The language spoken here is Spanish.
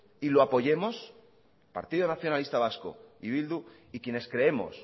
y lo apoyemos partido nacionalista vasco y bildu y quienes creemos